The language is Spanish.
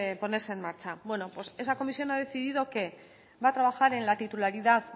ponerse en marcha bueno pues esa comisión ha decidido que va a trabajar en el titularidad